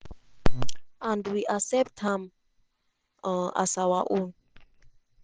and we accept am um as our own."